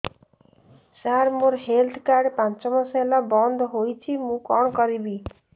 ସାର ମୋର health card ପାଞ୍ଚ ମାସ ହେଲା ବଂଦ ହୋଇଛି ମୁଁ କଣ କରିବି